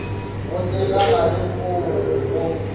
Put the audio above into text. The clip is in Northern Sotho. go tsena gare moo go